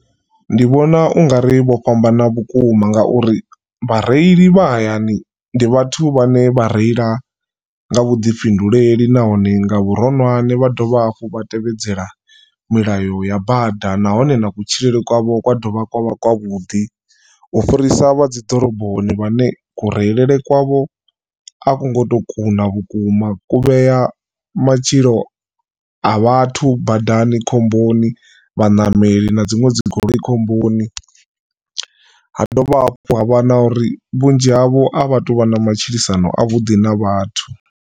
Ndi vhona ungari vho fhambana vhukuma ngauri vhareili vha hayani ndi vhathu vhane vha reila nga vhuḓifhinduleli nahone nga vhuronwane vha dovha hafhu vha tevhedzela milayo ya bada nahone na kutshilele kwavho kwa dovha kwavha kwa vhuḓi. U fhirisa vha dzi ḓoroboni vhane ku reile kwavho a ku ngo to kuna vhukuma ku vhea matshilo a vhathu badani khomboni vhaṋameli na dziṅwe dzi goloi khomboni ha dovha hafhu ha vha na uri vhunzhi havho a vha tu vha na matshilisano a vhuḓi na vhathu.